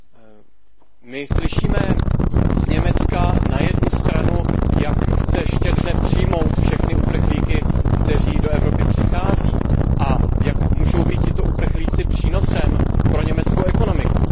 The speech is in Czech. Pane předsedající, my slyšíme z Německa na jednu stranu, jak chce štědře přijmout všechny uprchlíky, kteří do Evropy přichází, a jak můžou být tito uprchlíci přínosem pro německou ekonomiku.